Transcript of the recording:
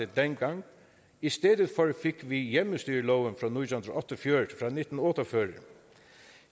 dengang i stedet for fik vi hjemmestyreloven fra nitten otte og fyrre